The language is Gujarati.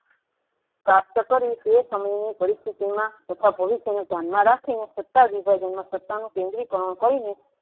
પ્રાપ્ત કરવી તે સમયની પરિસ્થીના તથા ભવિષ્ય ને ધ્યાન માં રાખીને સત્તા વિભાજન સત્તા નું કેન્દ્રી કારણ કરી ને